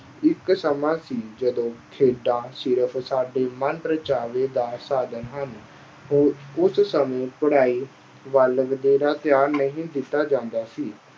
ਇੱਕ ਸਮਾਂ ਸੀ ਜਦੋਂ ਖੇਡਾਂ ਸਿਰਫ਼ ਸਾਡੇ ਮਨ ਪਰਚਾਵੇ ਦਾ ਸਾਧਨ ਹਨ, ਉਸ ਸਮੇ ਪੜ੍ਹਾਈ ਵੱਲ ਵਧੇਰਾ ਧਿਆਨ ਨਹੀਂ ਦਿੱਤਾ ਜਾਂਦਾ ਸੀ।